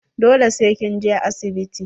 Dole sai kin je asibiti.